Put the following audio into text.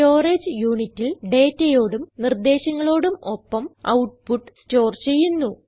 storage unitൽ dataയോടും നിർദേശങ്ങളോടും ഒപ്പം ഔട്ട്പുട്ട് സ്റ്റോർ ചെയ്യുന്നു